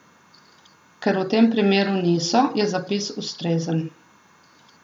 Ker v tem primeru niso, je zapis ustrezen.